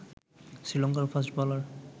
শ্রীলংকার fast bowler